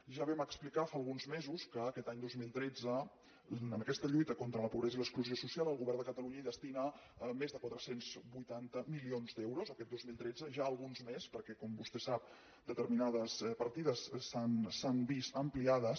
ja vam explicar fa alguns mesos que aquest any dos mil tretze a aquesta lluita contra la pobresa i l’exclusió social el govern de catalunya hi destina més de quatre cents i vuitanta milions d’euros aquest dos mil tretze ja alguns més perquè com vostè sap determinades partides s’han vist ampliades